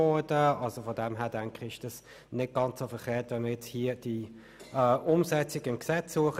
Insofern denke ich, ist es nicht ganz verkehrt, wenn wir jetzt die Umsetzung hier im Gesetz vornehmen.